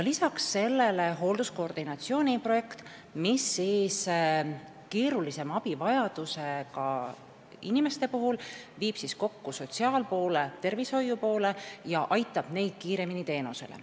Veel on töös hoolduse koordinatsiooni projekt, mis viib keerulisema abivajadusega inimeste puhul kokku sotsiaal- ja tervishoiupoole ning aitab neid kiiremini teenusele.